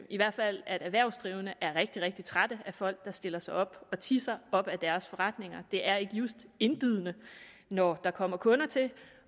i hvert fald at erhvervsdrivende er rigtig rigtig trætte af folk der stiller sig op og tisser op ad deres forretninger det er ikke just indbydende når der kommer kunder til